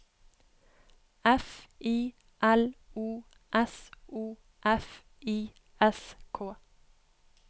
F I L O S O F I S K